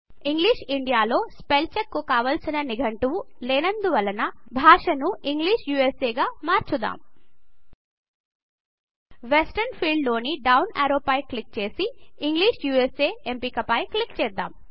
English India లో spell check కు కావాల్సిన నిఘంటువు లేనందువల్ల భాషా ను ఇంగ్లిష్ USAకు మార్చుద్దాం వెస్టర్న్ ఫీల్డ్ లోని డౌన్ యారో పై క్లిక్ చేసి ఇంగ్లిష్ యూఎస్ఏ ఎంపిక పై క్లిక్ చేద్దాం